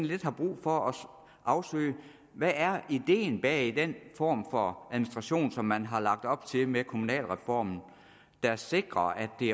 lidt har brug for at afsøge hvad er ideen bag den form for administration som man har lagt op til med kommunalreformen der sikrer at det